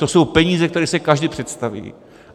To jsou peníze, který si každý představí.